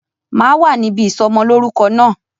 Máa wá níbi ìsọmọ lórúkọ náà